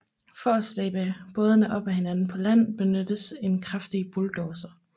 For at slæbe bådene op igen på land benyttes en kraftig bulldozer